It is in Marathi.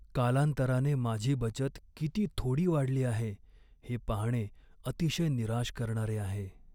कालांतराने माझी बचत किती थोडी वाढली आहे हे पाहणे अतिशय निराश करणारे आहे.